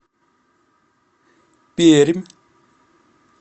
пермь